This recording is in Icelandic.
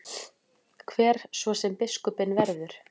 Hver svo sem biskupinn verður.